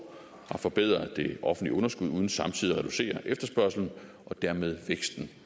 har forbedret det offentlige underskud uden samtidig at reducere efterspørgslen og dermed væksten